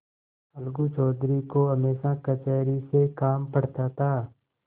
अलगू चौधरी को हमेशा कचहरी से काम पड़ता था